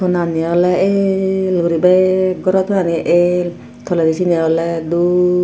tonani ole el guri bek goro tonani el toledi siyeni ole doob.